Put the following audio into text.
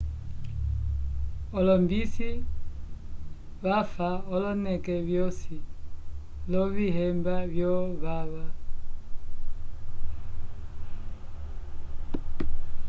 olombisi vafa oloneke vyosi, lovihemba vo vava